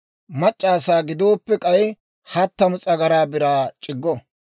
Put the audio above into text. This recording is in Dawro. Mac'c'a asaa gidooppe k'ay hattamu s'agaraa biraa c'iggo.